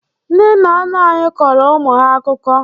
Ndị nna nna anyị kọrọ ụmụ ha akụkọ.